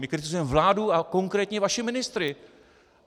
My kritizujeme vládu a konkrétní vaše ministry.